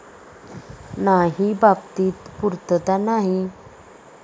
नाही बाबतीत पुर्तता नाही.